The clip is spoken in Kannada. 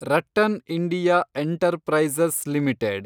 RattanIndia enterprises limited